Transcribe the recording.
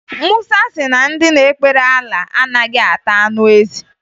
Musa si na ndị na-ekpere Alaa anaghị ata anụ ezi